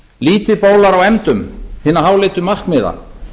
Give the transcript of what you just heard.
lítið bólar á efndum hinna háleitu markmiða